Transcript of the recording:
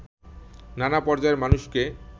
নানা পর্যায়ের মানুষকে